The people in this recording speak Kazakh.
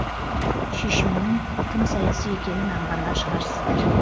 шешімнің тым саяси екенін аңғарған шығарсыздар